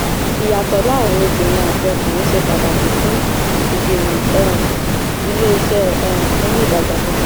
ìyàtọ̀ láàárín obìnrin àti ọkùnrin ṣe pàtàkì fún ìgbìmọ̀ um iléeṣẹ́ um fún ìdàgbàsókè.